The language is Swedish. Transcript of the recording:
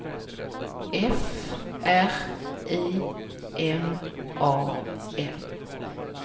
F R I M A N